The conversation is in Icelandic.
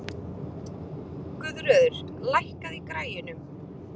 Guðröður, lækkaðu í græjunum.